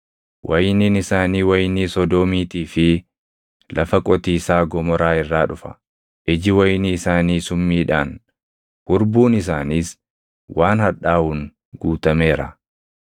Wayiniin isaanii wayinii Sodoomiitii fi lafa qotiisaa Gomoraa irraa dhufa. Iji wayinii isaanii summiidhaan, hurbuun isaaniis waan hadhaaʼuun guutameera.